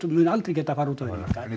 mun aldrei geta farið út á vinnumarkað en í